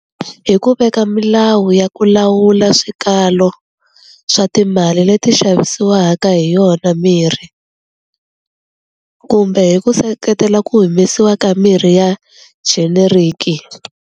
Hi ku veka milawu ya ku lawula swikalo swa timali leti xavisiwaka hi yona mirhi kumbe hi ku seketela ku humesiwa ka mirhi ya generic.